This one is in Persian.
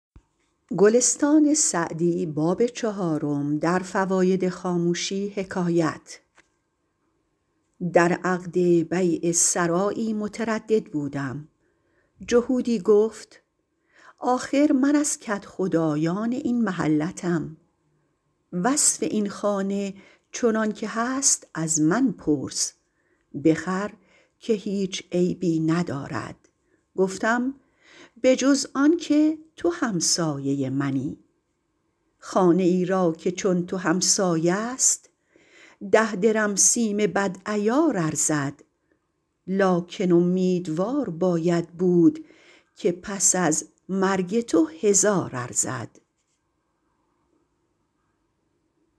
در عقد بیع سرایی متردد بودم جهودی گفت آخر من از کدخدایان این محلتم وصف این خانه چنان که هست از من پرس بخر که هیچ عیبی ندارد گفتم به جز آن که تو همسایه منی خانه ای را که چون تو همسایه است ده درم سیم بد عیار ارزد لکن امیدوار باید بود که پس از مرگ تو هزار ارزد